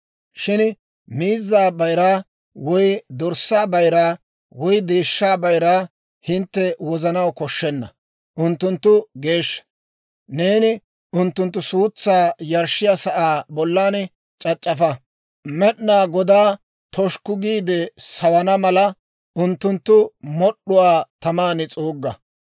Shin miizzaa bayiraa, woy dorssaa bayiraa, woy deeshshaa bayiraa hintte wozanaw koshshenna; unttunttu geeshsha. Neeni unttunttu suutsaa yarshshiyaa sa'aa bollan c'ac'c'afa; Med'inaa Godaa toshukku giide sawana mala, unttunttu mod'd'uwaa taman s'uugga.